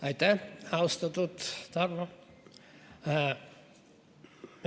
Aitäh, austatud Tarmo!